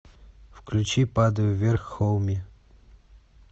включи падаю вверх хоуми